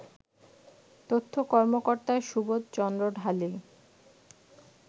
তথ্য কর্মকর্তা সুবোধ চন্দ্র ঢালী